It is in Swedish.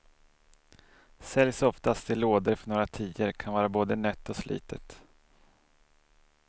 Säljs oftast i lådor för några tior, kan vara både nött och slitet.